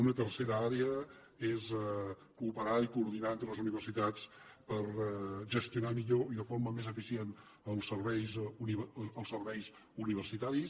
una tercera àrea és cooperar i coordinar entre les universitats per gestionar millor i de forma més eficient els serveis universitaris